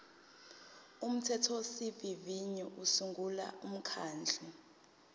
umthethosivivinyo usungula umkhandlu